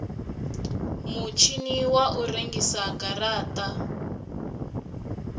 mutshini wa u rengisa garata